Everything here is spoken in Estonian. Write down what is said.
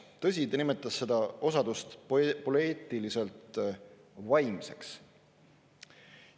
Tõsi, ta nimetas seda osadust poeetiliselt vaimseks.